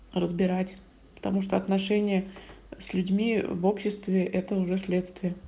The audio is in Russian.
разбирать потому что отношения с людьми в обществе это уже следствие